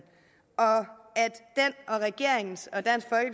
og regeringens og dansk